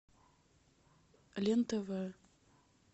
лен тв